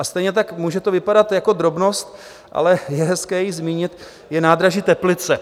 A stejně tak - může to vypadat jako drobnost, ale je hezké ji zmínit - je nádraží Teplice.